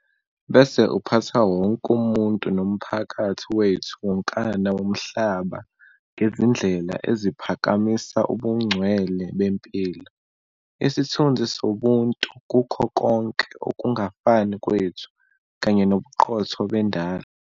bese uphatha wonke umuntu nomphakathi wethu wonkana womhlaba ngezindlela eziphakamisa ubungcwele bempilo, isithunzi sobuntu kukho konke ukungafani kwethu, kanye nobuqotho bendalo.